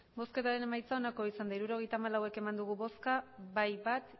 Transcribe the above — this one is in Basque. emandako botoak hirurogeita hamalau bai bat